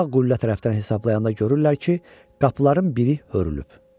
Sağ qüllə tərəfdən hesablayanda görürlər ki, qapıların biri hörülüb.